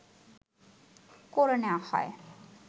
করে নেয়া হয়